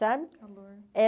Sabe? Eh